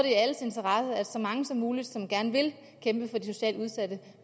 i alles interesse at så mange som muligt som gerne vil kæmpe for de socialt udsatte